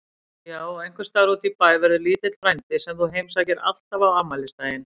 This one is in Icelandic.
Já og einhvers staðar útí bæ verður lítill frændi sem þú heimsækir alltaf á afmælisdaginn.